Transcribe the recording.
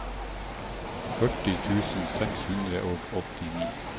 førti tusen seks hundre og åttini